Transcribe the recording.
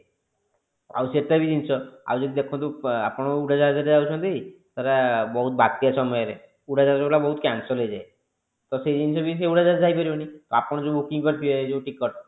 ଆଉ ସେଟା ବି ଜିନିଷ ଆଉ ଦେଖନ୍ତୁ ଆପଣ ଉଡାଜାହାଜରେ ଯାଉଛନ୍ତି ଧର ବହୁତ ବାତ୍ୟା ସମୟରେ ଉଡାଜାହାଜ ବାଲା ବହୁତ cancel ହେଇଯାଏ ତ ସେ ଜିନିଷ ବି ସେ ଉଡାଜାହାଜ ରେ ଯାଇ ପାରିବନି ତ ଆପଣ ଯୋଉଯୋଉ booking କରିଥିବେ ଯୋଉ ticket